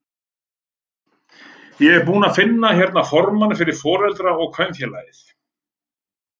Ég er búinn að finna hérna formanninn fyrir Foreldra- og kennarafélagið!